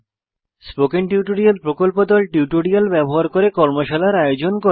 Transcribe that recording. spoken tutorial প্রকল্প দল tutorial ব্যবহার করে কর্মশালার আয়োজন করে